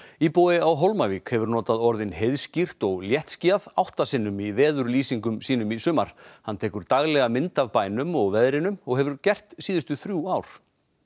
íbúi á Hólmavík hefur notað orðin heiðskírt og léttskýjað átta sinnum í veðurlýsingum sínum í sumar hann tekur daglega mynd af bænum og veðrinu og hefur gert síðustu þrjú ár